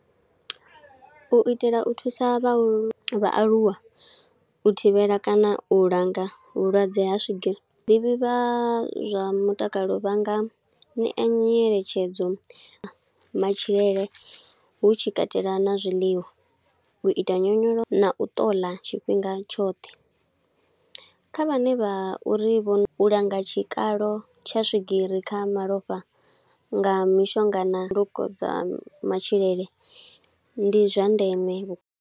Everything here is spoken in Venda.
U itela u thusa vhahulu, vhaaluwa u thivhela kana u langa vhulwadze ha swigiri. Vhaḓivhi vha zwa mutakalo vhanga ṋea nyeletshedzo matshilele, hu tshi katela na zwiḽiwa, u ita nyonyoloso, na u ṱoḽa tshifhinga tshoṱhe. Kha vhane vha uri u langa tshikalo tsha swigiri kha malofha nga mishonga na kokodza ha matshilele, ndi zwa ndeme vhukuma.